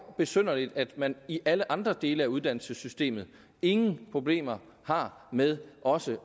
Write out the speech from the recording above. besynderligt at man i alle andre dele af uddannelsessystemet ingen problemer har med også